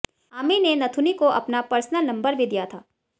आमिर ने नथुनी को अपना पर्सनल नम्बर भी दिया था